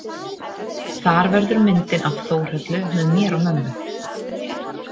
Þar verður myndin af Þórhöllu með mér og mömmu.